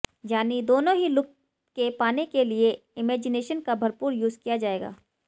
यानी दोनों ही लुक के पाने के लिए इमैजिनेशन का भरपूर यूज किया जाएगा